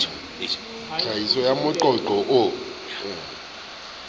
tlhahisong ya moqo qo o